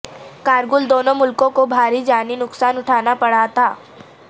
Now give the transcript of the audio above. کارگل دونوں ملکوں کو بھاری جانی نقصان اٹھانا پڑا تھا